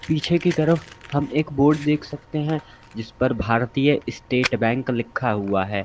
पीछे की तरफ हम एक बोर्ड देख सकते हैं जिस पर भारतीय स्टेट बैंक लिखा हुआ है।